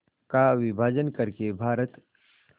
का विभाजन कर के भारत